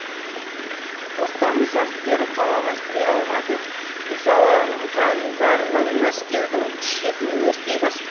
тоқтамыс әскері қалаға кіре алмады ызаланғандарынан мәскеудің шетін өртей бастады